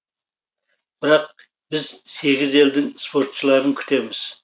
бірақ біз сегіз елдің спортшыларын күтеміз